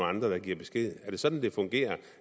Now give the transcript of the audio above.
andre der giver besked er det sådan det fungerer